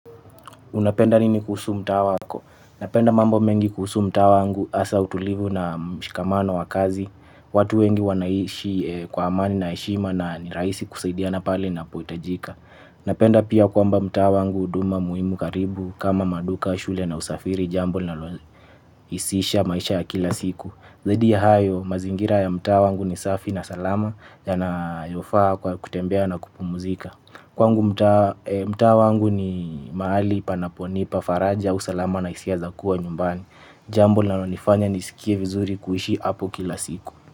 Unapenda nini kuhusu mtaa wako? Napenda mambo mengi kuhusu mtaa wangu hasa utulivu na mshikamano wa kazi. Watu wengi wanaishi kwa amani na heshima na ni rahisi kusaidiana pale inapohitajika. Napenda pia kwamba mtaa wangu huduma muhimu karibu kama maduka shule na usafiri jambo linalohisisha maisha ya kila siku. Zaidi ya hayo mazingira ya mtaa wangu ni safi na salama yanayofaa kwa kutembea na kupumuzika. Kwangu mtaa mtaa wangu ni mahali panaponipa faraja usalama na hisia za kuwa nyumbani. Jambo linalonifanya nisikie vizuri kuishi hapo kila siku.